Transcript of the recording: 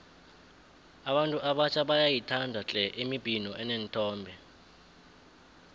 abantu abatjha bayayithanda tle imibhino eneenthombe